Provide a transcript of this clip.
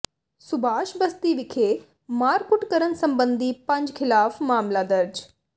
ਸੁਭਾਸ਼ ਬਸਤੀ ਵਿਖੇ ਮਾਰਕੁੱਟ ਕਰਨ ਸਬੰਧੀ ਪੰਜ ਖਿਲਾਫ਼ ਮਾਮਲਾ ਦਰਜ